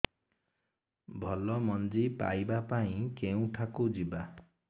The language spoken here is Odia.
ଭଲ ମଞ୍ଜି ପାଇବା ପାଇଁ କେଉଁଠାକୁ ଯିବା